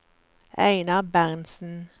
Einar Berntsen